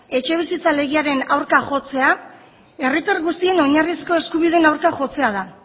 etxebizitza legearen aurka jotzea herritar guztien oinarrizko eskubideen aurka jotzea da